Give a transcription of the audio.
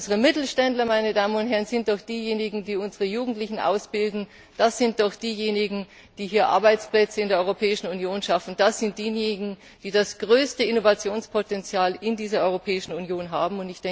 Unsere Mittelständler sind doch diejenigen, die unsere Jungendlichen ausbilden, das sind doch diejenigen, die Arbeitsplätze in der Europäischen Union schaffen, das sind diejenigen, die das größte Innovationspotential in dieser Europäischen Union haben.